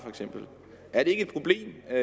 er det ikke et problem at